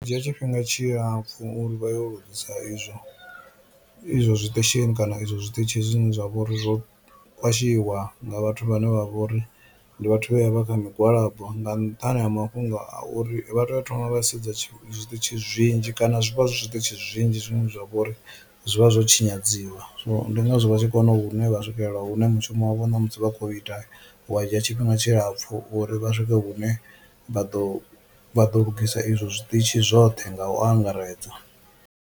Dzhia tshifhinga tshilapfhu uri vha yo lugisa izwo izwo zwiṱeshini kana izwo zwiṱitshi zwine zwa vhori zwo khwashiwa nga vhathu vhane vha vhori ndi vhathu vhe vha kha migwalabo nga nṱhani ha mafhungo a uri vha tea u thoma vha sedza zwiṱitshi zwinzhi kana zwi vha zwi zwiṱitshi zwinzhi zwine zwa vhori zwi vha zwo tshinyadziwa, so ndi ngazwo vha tshi kona hune vha swikelela hune mushumo wavho ṋamusi vha khou ita wa dzhia tshifhinga tshilapfhu uri vha swike hune vha ḓo vha ḓo lugisa izwo zwiṱitshi zwoṱhe nga u angaredza.